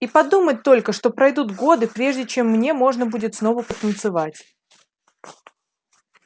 и подумать только что пройдут годы прежде чем мне можно будет снова потанцевать